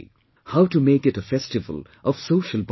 How to make it a festival of social bonding